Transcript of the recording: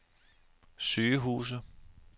sygehuse